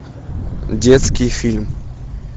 детский фильм